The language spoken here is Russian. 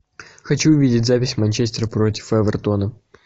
хочу увидеть запись манчестер против эвертона